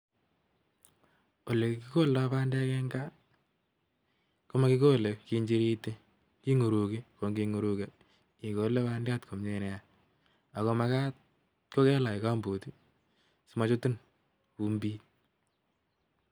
ole kigoldai pandek eng gaa, komakikolei kenchiriti kinguruchi. Kongingururkei igole pandyat komie nea , ako magat kokelach gumboot simachutin vumbit.